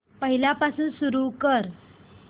पहिल्यापासून सुरू कर